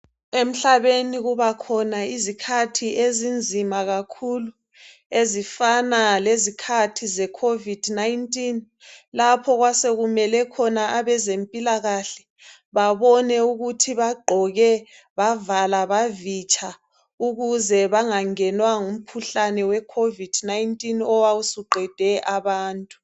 emhlabeni kubakhona izikhathi ezinzima kakhulu ezifana lezikhathi ze COVID 19 lapho owasekumele khona abezempilakhle babone ukuthi bagqoke bavala bavitsha ukuze bangangenwa ngumkhuhlne we COVID 19 owawusuqede abantu